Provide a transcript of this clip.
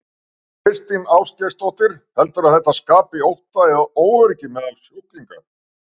Þóra Kristín Ásgeirsdóttir: Heldurðu að þetta skapi ótta eða óöryggi meðal sjúklinga?